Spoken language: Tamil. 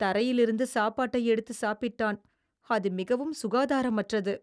தரையிலிருந்து சாப்பாட்டை எடுத்து சாப்பிட்டான். அது மிகவும் சுகாதாரமற்றது.